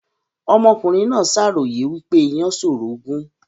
Ọmọkùnrin náà ṣàròyè wípé ìyàn ṣòro gùn